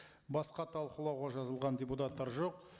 басқа талқылауға жазылған депутаттар жоқ